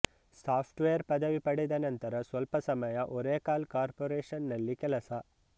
soft wear ಪದವಿ ಪಡೆದನಂತರ ಸ್ವಲ್ಪ ಸಮಯ ಒರೇಕಲ್ ಕಾರ್ಪೊರೇಷನ್ ನಲ್ಲಿ ಕೆಲಸ